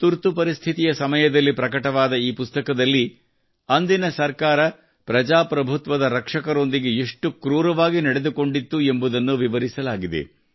ತುರ್ತುಪರಿಸ್ಥಿತಿಯಲ್ಲಿ ಸಮಯದಲ್ಲಿ ಪ್ರಕಟವಾದ ಈ ಪುಸ್ತಕದಲ್ಲಿ ಅಂದಿನ ಸರ್ಕಾರ ಪ್ರಭಾಪ್ರಭುತ್ವದ ರಕ್ಷಕರೊಂದಿಗೆ ಎಷ್ಟು ಕ್ರೂರವಾಗಿ ನಡೆದುಕೊಂಡಿತ್ತು ಎಂಬುದನ್ನು ವಿವರಿಸಲಾಗಿದೆ